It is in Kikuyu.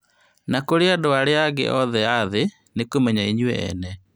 Na kũrĩ andũ arĩa angĩ thĩ yothe nĩkũmenya inyuĩ ene